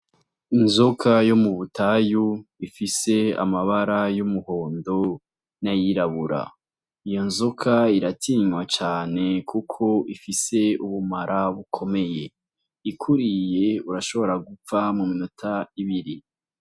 Inzoka yo mu butayu ifise amabara y'umuhondo nayirabura iyo nzoka iratinywa cane, kuko ifise ubumara bukomeye ikuriye urashobora gupfa mu minota ibiri.